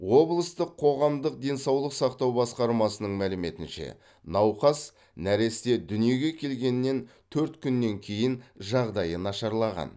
облыстық қоғамдық денсаулық сақтау басқармасының мәліметінше науқас нәресте дүниеге келгеннен төрт күннен кейін жағдайы нашарлаған